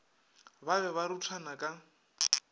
ba be ba ruthana ka